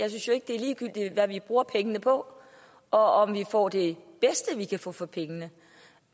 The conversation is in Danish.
synes jo ikke det er ligegyldigt hvad vi bruger pengene på og om vi får det bedste vi kan få for pengene